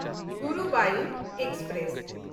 Guruvayur express